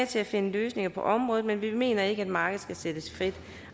til at finde løsninger på området men vi mener ikke at markedet skal sættes frit